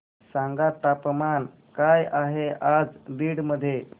सांगा तापमान काय आहे आज बीड मध्ये